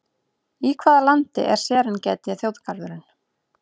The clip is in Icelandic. Í hvaða landi er Serengeti þjóðgarðurinn?